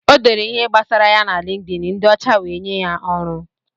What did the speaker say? O dere ihe gbasara ya na LinkedIn, ndị ọcha wee nye ya ọrụ.